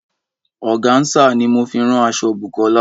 Ọ̀gànsà ní mo fi rán aṣọ̀ Bùkọ́lá.